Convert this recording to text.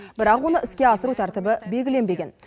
бірақ оны іске асыру тәртібі белгіленбеген